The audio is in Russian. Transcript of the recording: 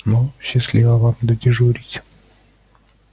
ну счастливо вам додежурить